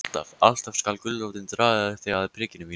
Alltaf, alltaf skal gulrótin draga þig að prikinu mínu.